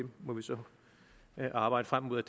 må vi så arbejde frem imod